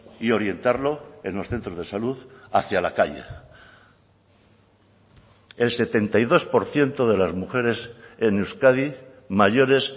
y orientarlo en los centros de salud hacia la calle el setenta y dos por ciento de las mujeres en euskadi mayores